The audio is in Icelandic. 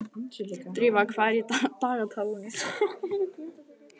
Drífa, hvað er í dagatalinu í dag?